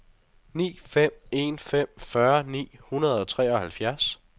ni fem en fem fyrre ni hundrede og treoghalvfjerds